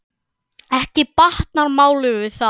Ekki batnar málið við það.